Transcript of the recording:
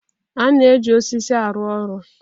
A na-eji osisi arụ ọrụ.